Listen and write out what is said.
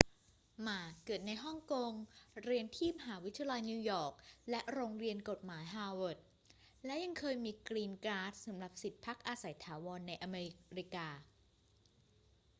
หม่า เกิดในฮ่องกง เรียนที่มหาวิทยาลัยนิวยอร์กและโรงเรียนกฎหมายฮาร์วาร์ด และยังเคยมี กรีนการ์ด สำหรับสิทธิ์พักอาศัยถาวรในอเมริกา